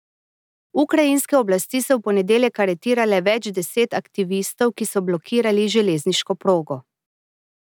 Ukrajinske oblasti so v ponedeljek aretirale več deset aktivistov, ki so blokirali železniško progo.